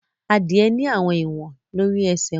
Adie ní àwọn ìwọn lórí esè wón.